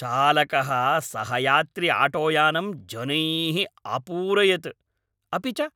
चालकः सहयात्रिआटोयानम् जनैः अपूरयत्, अपि च